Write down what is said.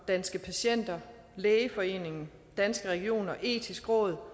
danske patienter lægeforeningen danske regioner det etiske råd